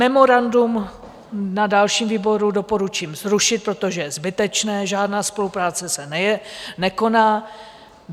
Memorandum na dalším výboru doporučím zrušit, protože je zbytečné, žádná spolupráce se nekoná.